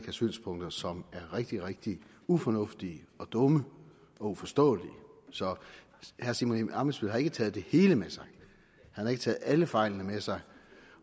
synspunkter som er rigtig rigtig ufornuftige dumme og uforståelige så herre simon emil ammitzbøll har ikke taget det hele med sig han har ikke taget alle fejlene med sig